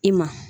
I ma